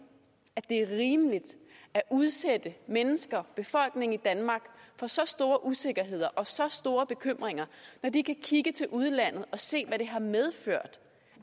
at det er rimeligt at udsætte menneskene befolkningen i danmark for så store usikkerheder og så store bekymringer når de kan kigge til udlandet og se hvad det har medført